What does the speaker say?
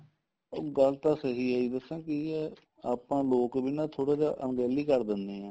ਉਹ ਗੱਲ ਤਾਂ ਸਹੀ ਹੈ ਦੱਸਾਂ ਕੀ ਹੈ ਆਪਾਂ ਲੋਕ ਵੀ ਥੋੜਾ ਜਾ ਅਣਗਹਿਲੀ ਕਰ ਦਿੰਨੇ ਆ